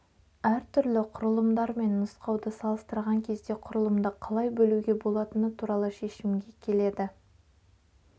әртүрлі құрылымдар мен нұсқауды салыстырған кезде құрылымды қалай бөлуге болатыны туралы шешімге келеді